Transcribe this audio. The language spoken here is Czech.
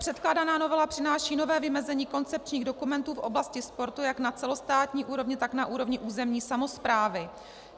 Předkládaná novela přináší nové vymezení koncepčních dokumentů v oblasti sportu jak na celostátní úrovni, tak na úrovni územní samosprávy.